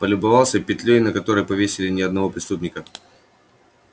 полюбовался петлёй на которой повесили не одного преступника